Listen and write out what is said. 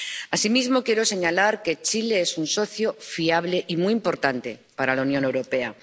Asimismo, quiero señalar que Chile es un socio fiable y muy importante para la Unión Europea